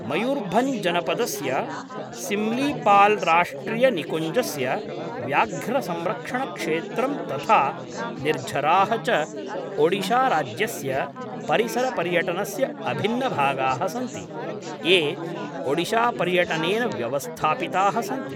मयूर्भञ्ज्जनपदस्य सिम्लीपाल्राष्ट्रियनिकुञ्जस्य व्याघ्रसंरक्षणक्षेत्रं तथा निर्झराः च ओडिशाराज्यस्य परिसरपर्यटनस्य अभिन्नभागाः सन्ति, ये ओडिशापर्यटनेन व्यवस्थापिताः सन्ति।